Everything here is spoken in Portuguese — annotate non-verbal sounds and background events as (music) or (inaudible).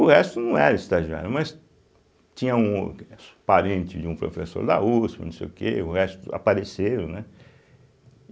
O resto não era estagiário, mas tinha um (unintelligible) parente de um professor da uspe, não sei o que, o resto apareceu, né?